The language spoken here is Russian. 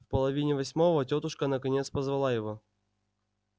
в половине восьмого тётушка наконец позвала его